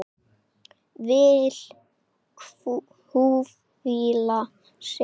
Vill hvíla sig.